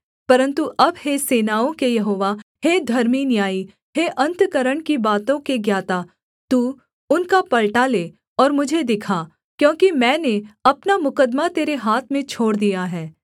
परन्तु अब हे सेनाओं के यहोवा हे धर्मी न्यायी हे अन्तःकरण की बातों के ज्ञाता तू उनका पलटा ले और मुझे दिखा क्योंकि मैंने अपना मुकद्दमा तेरे हाथ में छोड़ दिया है